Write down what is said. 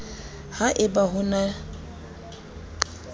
ha e ba ho na